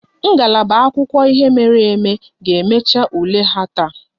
Ngalaba akụkọ ihe mere eme ga-emecha ule ha taa